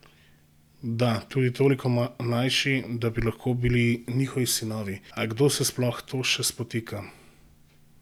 Da, tudi toliko mlajši, da bi lahko bili njihovi sinovi, a kdo se ob to sploh še spotika?